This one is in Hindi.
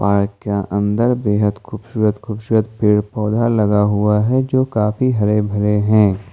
है क्या अंदर बेहद खूबसूरत खूबसूरत पेड़ पौधा लगा हुआ है जो काफी हरे भरे हैं।